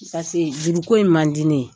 juru ko in man di ne ye.